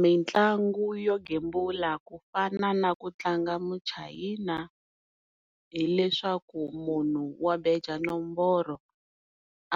Mitlangu yo gembula ku fana na ku tlanga muchayina hileswaku munhu wa beja nomboro